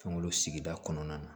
Kungolo sigida kɔnɔna na